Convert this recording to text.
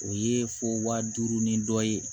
O ye fo waa duuru ni dɔ ye